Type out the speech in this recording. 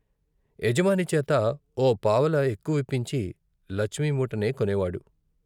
యజమానిచేత ఓ పావలా ఎక్కువిప్పించి లచ్మి మూటనే కొనేవాడు.